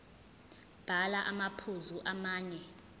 bhala amaphuzu amane